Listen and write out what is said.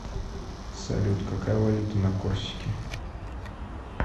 салют какая валюта на корсике